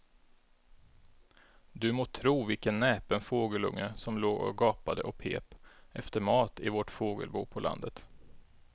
Du må tro vilken näpen fågelunge som låg och gapade och pep efter mat i vårt fågelbo på landet.